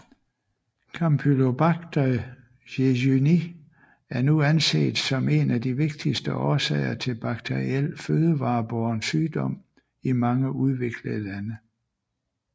Campylobacter jejuni er nu anset som en af de vigtigste årsager til bakteriel fødevarebåren sygdom i mange udviklede lande